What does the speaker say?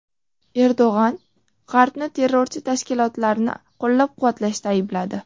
Erdo‘g‘on G‘arbni terrorchi tashkilotlarni qo‘llab-quvvatlashda aybladi.